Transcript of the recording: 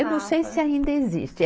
Eu não sei se ainda existe.